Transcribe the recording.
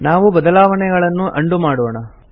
ನಾವು ಬದಲಾವಣೆಗಳನ್ನು ಉಂಡೋ ಮಾಡೋಣ